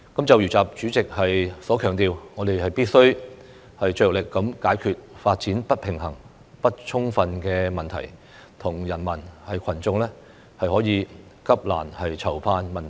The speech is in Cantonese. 就如習主席所強調，我們必須"着力解決發展不平衡不充分問題和人民群眾急難愁盼問題"。